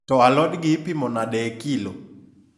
to alod gi ipimo nade e kilo?